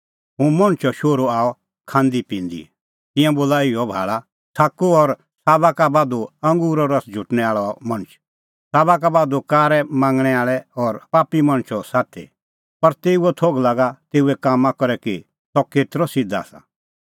हुंह मणछो शोहरू आअ खांदीपिंदी तिंयां बोला इहअ भाल़ा छ़ाकू और साबा का बाधू अंगूरो रस झुटणैं आल़अ मणछ साबा का बाधू कारै मांगणैं आल़ै और पापी मणछो साथी पर तेऊओ थोघ लागा तेऊए कामां करै कि सह केतरअ सिध्द आसा